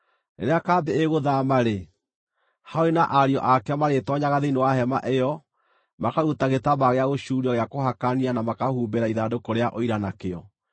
Rĩrĩa kambĩ ĩgũthaama-rĩ, Harũni na ariũ ake marĩtoonyaga thĩinĩ wa hema ĩyo makaruta gĩtambaya gĩa gũcuurio gĩa kũhakania na makahumbĩra ithandũkũ rĩa Ũira nakĩo.